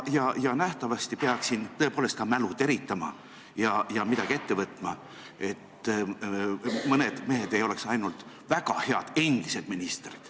Nähtavasti peaks siin tõepoolest mälu teritama ja midagi ette võtma, et mõned mehed ei oleks ainult väga head endised ministrid.